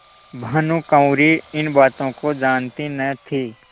भानुकुँवरि इन बातों को जानती न थी